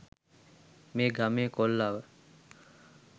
මේ ගමේ කොල්ලා ව